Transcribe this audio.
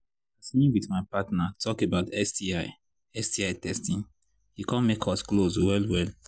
as me with my partner talk about sti sti testing e come make us close well well